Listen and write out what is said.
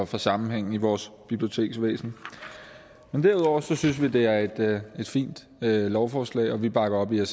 for sammenhængen i vores biblioteksvæsen derudover synes vi det er et fint lovforslag og vi bakker det